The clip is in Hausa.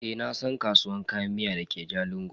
Eh nasan kasuwar Kayan miya dake jalingo.